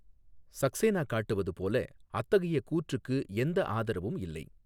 சக்சேனா காட்டுவது போல, அத்தகைய கூற்றுக்கு எந்த ஆதரவும் இல்லை.